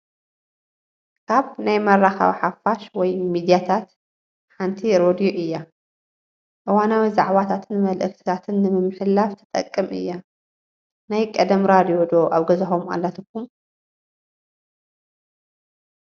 ካብ ናይ መራኸቢ ሓፋሽ ወይሚድያታት ሓንቲ ሬድዮ እያ፡፡ እዋናዊ ዛዕባታትን መለእኽትታትን ንምምሕልላፍ ትጠቅም እያ፡፡ ናይ ቀደም ራድዮ ዶ ኣብ ገዛኹም ኣላትኩም?